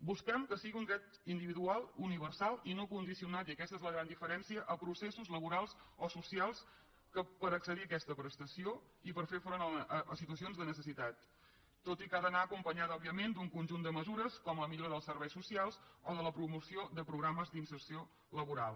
busquem que sigui un dret individual universal i no condicionat i aquesta és la gran diferència a processos laborals o socials per accedir a aquesta prestació i per fer front a situacions de necessitat tot i que ha d’anar acompanyada òbviament d’un conjunt de mesures com la millora dels serveis socials o la promoció de programes d’inserció laboral